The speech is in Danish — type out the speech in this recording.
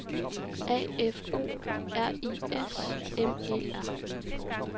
A F O R I S M E R